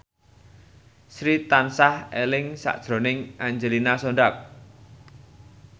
Sri tansah eling sakjroning Angelina Sondakh